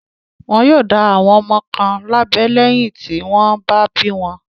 Wọn yóò dá àwọn ọmọ kan lábẹ́ lẹ́yìn tí wọ́n bá bí wọn.